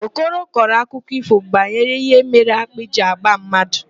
Okoro kọrọ akụkọ ífò banyere ihe mere akpị ji agba mmadụ.